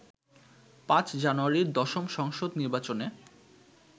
৫ জানুয়ারির দশম সংসদ নির্বাচনে